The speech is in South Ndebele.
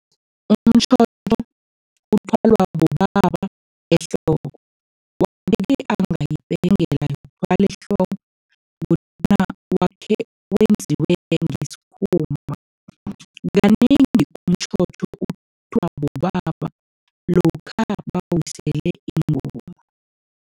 Umtjhotjho uthwalwa bobaba ehloko. Yokuthwala ehloko wakhe wenziwe ngesikhumba, kanengi umtjhotjho umbathwa bobaba lokha bawisele ingoma.